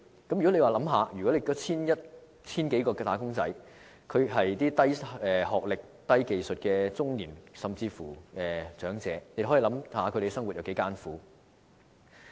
大家試想一想，如果該 1,000 多名"打工仔"是低學歷、低技術的中年，甚至長者，他們的生活會多麼艱苦？